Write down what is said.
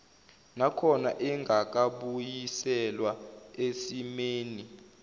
nakhona engakabuyiselwa esimeni